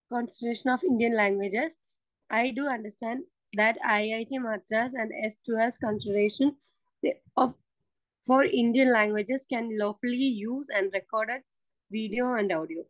Speaker 2 consortium for Indian languages. We do understand that IIT Madras and the S two S consortium for Indian languages can lawfully use the recorded video and audio.